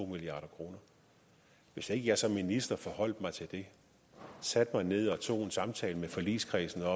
milliard kroner hvis ikke jeg som minister forholdt mig til det satte mig ned og tog en samtale med forligskredsen